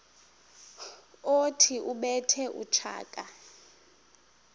othi ubethe utshaka